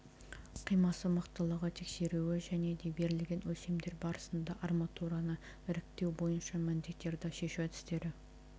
қимасы мықтылығы тексеруі және де берілген өлшемдер барысында арматураны іріктеу бойынша міндеттерді шешу әдістері